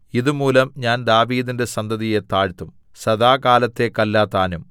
ഇതു മൂലം ഞാൻ ദാവീദിന്റെ സന്തതിയെ താഴ്ത്തും സദാകാലത്തേക്കല്ലതാനും